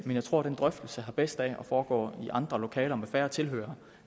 jeg tror at den drøftelse har bedst af at foregå i andre lokaler med færre tilhørere